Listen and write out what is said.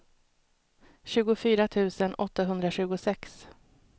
tjugofyra tusen åttahundratjugosex